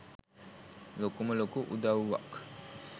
ලොකුම ලොකු උදවුවක්.